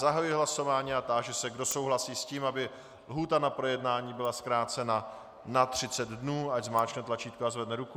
Zahajuji hlasování a táži se, kdo souhlasí s tím, aby lhůta na projednání byla zkrácena na 30 dnů, ať zmáčkne tlačítko a zvedne ruku.